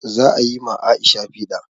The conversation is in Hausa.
Za a yi ma Aisha piɗa